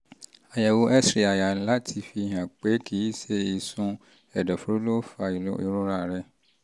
àyẹ̀wò x-ray àyà láti fihàn pé kì í ṣe ìsun ẹ̀dọ̀fóró ló fa ìrora rẹ